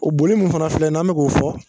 O boli min fana filɛ n'an bɛ k'o fɔ